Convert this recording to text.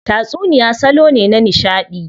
Tatsuniya salo ne na nishadi.